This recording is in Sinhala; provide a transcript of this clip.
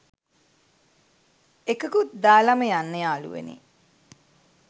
එකකුත් දාලම යන්න යාලුවනේ